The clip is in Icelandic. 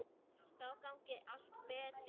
Þá gangi allt betur.